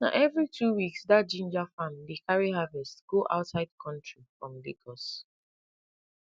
na every two weeks dat ginger farm dey carry harvest go outside country from lagos